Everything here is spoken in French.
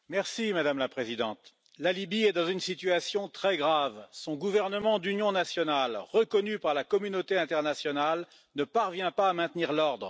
Madame la Présidente, la Libye est dans une situation très grave son gouvernement d'union nationale, reconnu par la communauté internationale, ne parvient pas à maintenir l'ordre.